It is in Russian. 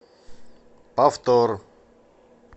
повтор